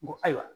N ko ayiwa